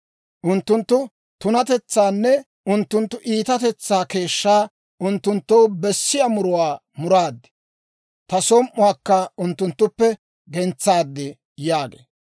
Unttunttu tunatetsaanne unttunttu iitatetsaa keeshshaa unttunttoo bessiyaa muruwaa muraad; ta som"uwaakka unttunttuppe gentsaad› yaagee.